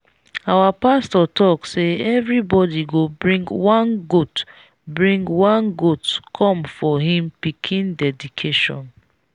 our pastor talk say everybody go bring one goat bring one goat come for him pikin dedication.